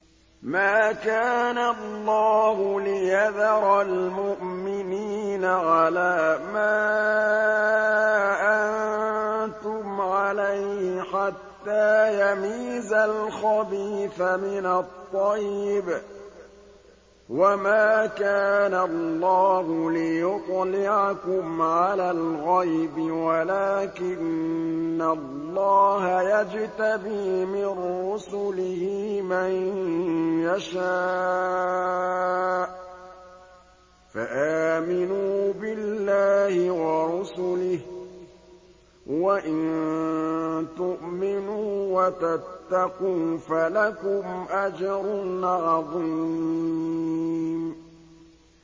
مَّا كَانَ اللَّهُ لِيَذَرَ الْمُؤْمِنِينَ عَلَىٰ مَا أَنتُمْ عَلَيْهِ حَتَّىٰ يَمِيزَ الْخَبِيثَ مِنَ الطَّيِّبِ ۗ وَمَا كَانَ اللَّهُ لِيُطْلِعَكُمْ عَلَى الْغَيْبِ وَلَٰكِنَّ اللَّهَ يَجْتَبِي مِن رُّسُلِهِ مَن يَشَاءُ ۖ فَآمِنُوا بِاللَّهِ وَرُسُلِهِ ۚ وَإِن تُؤْمِنُوا وَتَتَّقُوا فَلَكُمْ أَجْرٌ عَظِيمٌ